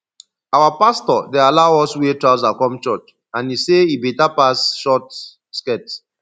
our pastor dey allow us wear trouser come church and he say e better pass short skirt